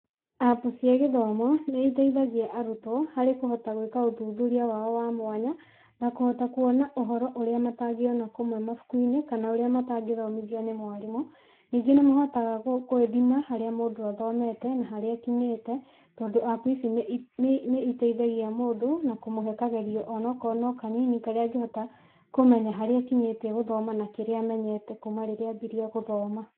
Apu cia gĩthomo, nĩiteithagia arũtwo, harĩ kũhota gwĩka ũthuthuria wao wa mwanya, na kũhota kuona ũhoro ũrĩa matangĩona kuma mabukuinĩ kana ũrĩa matangĩthomithĩo nĩ mwarimũ. Nĩngĩ nĩmahotaga gwĩthima harĩa mũndũ athomete na harĩa akinyĩte, tondũ apu ici nĩiteithagĩa mũndũ na kũmũhe kagerio onakorwo nĩ kanini karĩa angĩhota kũmena harĩa akinyĩtie gũthoma na kĩrĩa amenyete kũma rĩrĩa ambirie gũthoma.